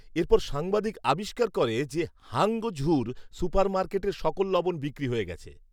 এরপর সাংবাদিক আবিষ্কার করে যে হাঙ্গঝুর সুপারমার্কেটের সকল লবণ বিক্রি হয়ে গেছে